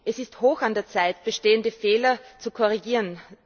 Es ist hoch an der Zeit, bestehende Fehler zu korrigieren.